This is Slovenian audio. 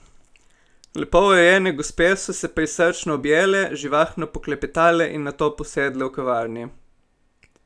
Lepo urejene gospe so se prisrčno objele, živahno poklepetale in nato posedle v kavarni.